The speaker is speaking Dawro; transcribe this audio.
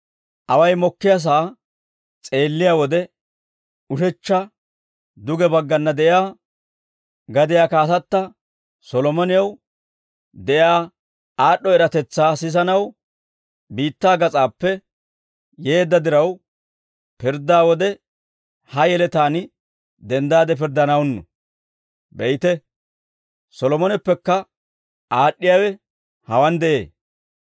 Away mokkiyaasaa s'eelliyaa wode, ushechcha duge bagganna de'iyaa gadiyaa kaatatta Solomonew de'iyaa aad'd'o eratetsaa sisanaw biittaa gas'aappe yeedda diraw, pirddaa wode ha yeletaan denddaade pirddanawunnu; be'ite, Solomoneppekka aad'd'iyaawe hawaan de'ee.